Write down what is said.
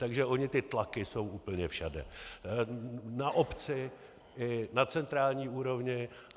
Takže ony ty tlaky jsou úplně všude, na obci, na centrální úrovni.